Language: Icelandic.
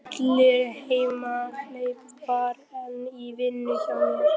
Alli hamhleypa var enn í vinnu hjá hernum.